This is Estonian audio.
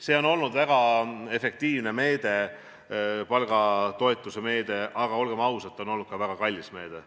See on olnud väga efektiivne meede, see palgatoetuse meede, aga olgem ausad, see on olnud ka väga kallis meede.